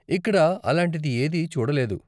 ఇక్కడ అలాంటిది ఏదీ చూడలేదు.